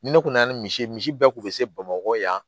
Ni ne kun na ni misi ye misi bɛɛ kun be se bamakɔ yan